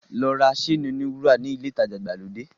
Lọ ra séènì-oníwúrà nílé ìtajà ìgbàlódé.